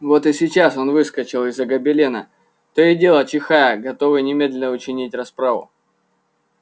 вот и сейчас он выскочил из-за гобелена то и дело чихая готовый немедленно учинить расправу